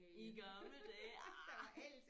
I gamle dage ah